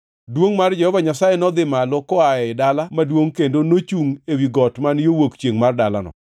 Duongʼ mar Jehova Nyasaye nodhi malo koa ei dala maduongʼ kendo nochungʼ ewi got man yo wuok chiengʼ mar dalano.